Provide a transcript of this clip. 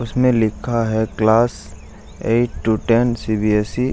उसमें लिखा है class eight to ten CBSE. --